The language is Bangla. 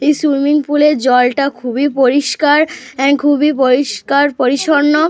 এই সুইমিং পুল এর জলটা খুবই পরিষ্কার এন্ড খুবই পরিষ্কার পরিচ্ছন্ন।